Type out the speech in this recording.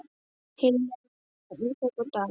Hilmar, Jóna, Ísak og Daníel.